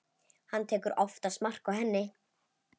Hann tekur oftast mark á henni.